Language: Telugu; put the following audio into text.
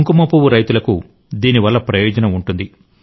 కుంకుమ పువ్వు రైతులకు దీనివల్ల ప్రయోజనం ఉంటుంది